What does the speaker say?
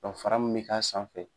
fara mun bɛ k'a sanfɛ